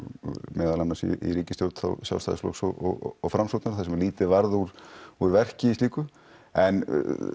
meðal annars í ríkisstjórn Sjálfstæðisflokks og Framsóknar þar sem lítið varð úr úr verki í slíku en